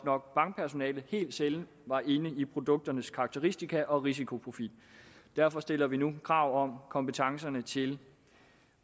og bankpersonalet var inde i produkternes karakteristika og risikoprofil derfor stiller vi nu krav om kompetencerne til